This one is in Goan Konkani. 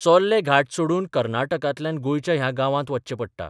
चोर्ले घाट चढून कर्नाटकांतल्यान गोंयच्या ह्या गांवांत वच्चें पडटा.